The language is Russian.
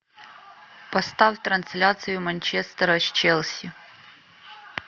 поставь трансляцию манчестера с челси